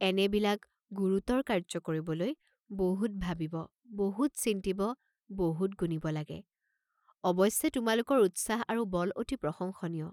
এনেবিলাক গুৰুতৰ কাৰ্য্য কৰিবলৈ বহুত ভাবিব, বহুত চিন্তিব, বহুত গুণিব লাগে, অৱশ্যে তোমালোকৰ উৎসাহ আৰু বল অতি প্ৰশংসনীয়।